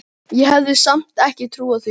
Ég hefði samt ekki trúað því.